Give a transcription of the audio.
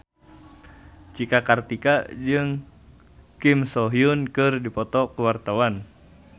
Cika Kartika jeung Kim So Hyun keur dipoto ku wartawan